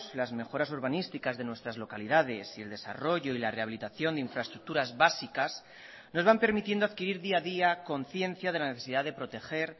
las mejoras urbanísticas de nuestras localidades y el desarrollo y la rehabilitación de infraestructuras básicas nos van permitiendo adquirir día a día conciencia de la necesidad de proteger